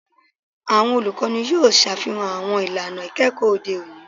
Awọn olukọni yoo ṣafihan awọn ilana ikẹkọ ode oni